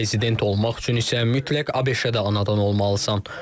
Prezident olmaq üçün isə mütləq ABŞ-də anadan olmalısan.